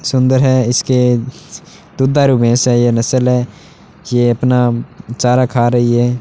सुंदर है इसके दुधारू भैंस है ये नस्ल है ये अपना चारा खा रही है।